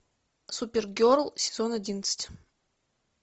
супергерл сезон одиннадцать